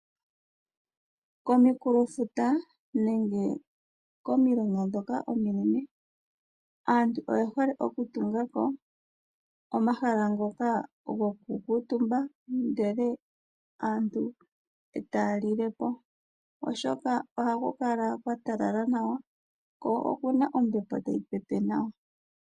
Komukulofutu nenge aantu oyehle okutunga ko omahala